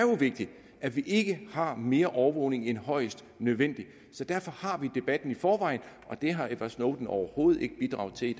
vigtigt at vi ikke har mere overvågning end højst nødvendigt derfor har vi debatten i forvejen og den har edward snowden overhovedet ikke bidraget til